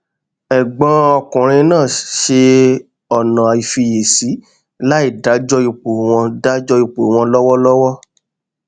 ẹgbọn ọkùnrin náà ṣe ọnà ìfisíìṣe láì dájọ ipò wọn dájọ ipò wọn lọwọlọwọ